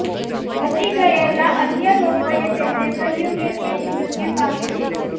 બચી ગયેલા અન્ય લોકોએ તેમને કહ્યું કે તેણી મૃત્યુ પામી છે